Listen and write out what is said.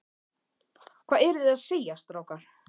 Hvað eruð þið að segja, strákar?